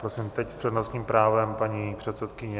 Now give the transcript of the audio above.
Prosím, teď s přednostním právem paní předsedkyně.